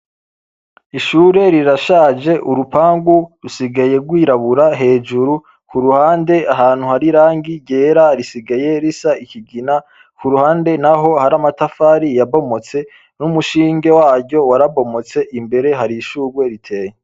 Ishure rirashaje urupangu rusigaye rwirabura hejuru ku ruhande ahantu hari irangi yera risigaye risa ikigina ku ruhande naho hari amatafari yabomotse n'umushinge waryo warabomotse, imbere hari ishurwe riteye.